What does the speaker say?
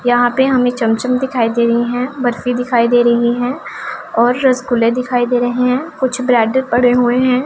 यहां पे हमें चमचम दिखाई दे रही हैं बर्फी दिखाई दे रही है और रसगुल्ले दिखाई दे रहे हैं कुछ ब्रेड पड़े हुए हैं।